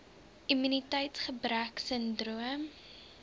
immuniteits gebrek sindroom